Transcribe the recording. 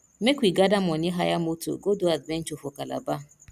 make we gather money hire moto go do adventure for calabar